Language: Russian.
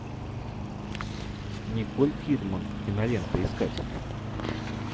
николь кидман киноленты искать